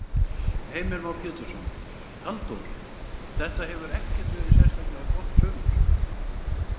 Heimir Már Pétursson: Halldór, þetta hefur ekkert verið sérstaklega gott sumar?